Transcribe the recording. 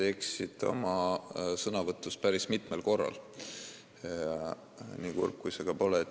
Te eksisite oma sõnavõtus päris mitmel korral, nii kurb kui see ka pole.